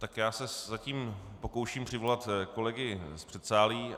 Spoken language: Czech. Tak já se zatím pokouším přivolat kolegy z předsálí.